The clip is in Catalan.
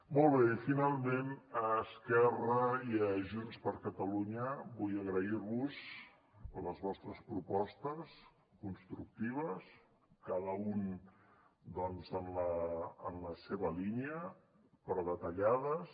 molt bé i finalment a esquerra i a junts per catalunya vull agrair vos les vostres propostes constructives cada un doncs en la seva línia però detallades